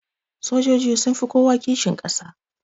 Sojoji sunfi kowa kishin kasa